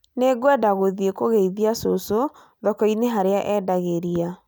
Nĩngwenda gũthiĩ kũgeithia cũcũ thoko-inĩ harĩa endageria